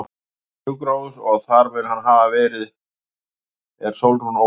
Steindór á sjúkrahús og þar mun hann hafa verið er Sólrún ól barnið.